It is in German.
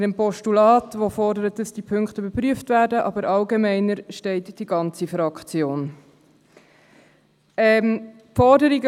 Hinter dem Postulat, welches eine Überprüfung der Punkte fordert, aber steht die ganze Fraktion, nur allgemeiner.